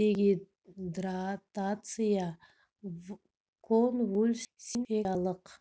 дегидратация конвульсиямен сипатталатын инфекциялық